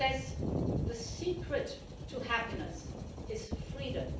He says, the secret to happiness is freedom